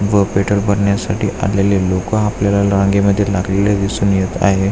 व पेट्रोल भरण्यासाठी आलेले लोक आपल्याला रांगे मध्ये लागलेले दिसून येत आहे.